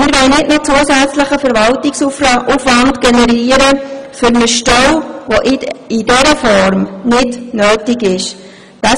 Wir wollen keinen zusätzlichen Verwaltungsaufwand für eine Stelle generieren, die in dieser Form nicht notwendig ist.